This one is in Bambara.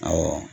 Awɔ